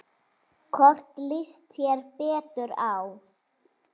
Hvorn líst þér betur á?